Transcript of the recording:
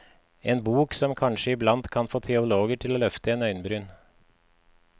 En bok som kanskje iblant kan få teologer til å løfte en øyenbryn.